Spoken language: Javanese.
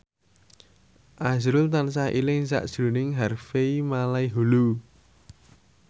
azrul tansah eling sakjroning Harvey Malaiholo